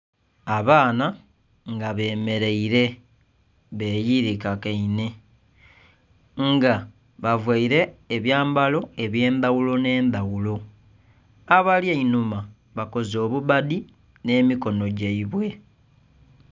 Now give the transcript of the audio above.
Abaana nga bemeleire beyirikagaine nga bavaile ebyambalo eby'endhaghulo n'endhaghulo. Abali einhuma bakoze obubbadi n'emikono gyaibwe.